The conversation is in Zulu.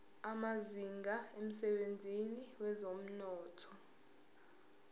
amazinga emsebenzini wezomnotho